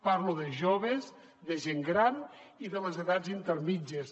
parlo de joves de gent gran i de les edats intermèdies